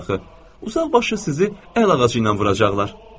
Uzaqbaşı sizi əl ağacı ilə vuracaqlar.